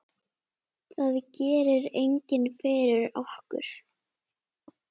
Það gerir enginn fyrir okkur.